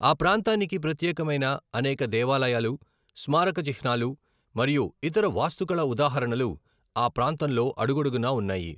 ఆ ప్రాంతానికి ప్రత్యేకమైన అనేక దేవాలయాలు, స్మారక చిహ్నాలు మరియు ఇతర వాస్తుకళ ఉదాహరణలు ఆ ప్రాంతంలో అడుగడునా ఉన్నాయి.